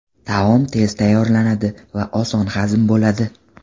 Taom tez tayyorlanadi va oson hazm bo‘ladi.